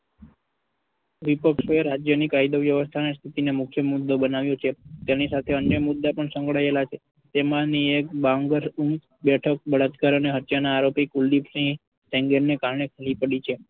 રાજ્યની કાયદા વ્યવસ્થા ને મુખ્ય મુદ્દો બનાવ્યો છે. તેની સાથે અન્ય મુદ્દા પણ સંકળાયેલા છે જેમાંની એક બાંગર બેઠક બળાત્કાર અને હત્યાના આરોપી કુલદીપસિંહ ના કારણે ખાલી પડી છે.